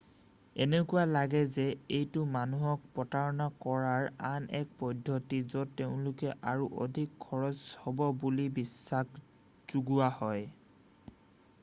এনেকুৱা লাগে যে এইটো মানুহক প্ৰতাৰণা কৰাৰ আন এক পদ্ধতি য'ত তেওঁলোকৰ আৰু অধিক খৰছ হব বুলি বিশ্বাস যোগোৱা হয়